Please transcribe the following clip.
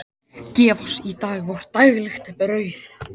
Gef oss í dag vort daglegt brauð.